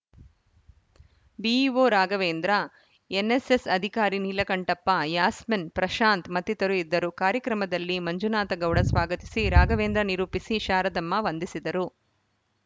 BEO Raghavendra NSS ಅಧಿಕಾರಿ ನೀಲಕಂಠಪ್ಪ ಯಾಸ್ಮಿನ್‌ ಪ್ರಶಾಂತ್‌ ಮತ್ತಿತರರು ಇದ್ದರು ಕಾರ್ಯಕ್ರಮದಲ್ಲಿ ಮಂಜುನಾಥಗೌಡ ಸ್ವಾಗತಿಸಿ ರಾಘವೇಂದ್ರ ನಿರೂಪಿಸಿ ಶಾರದಮ್ಮ ವಂದಿಸಿದರು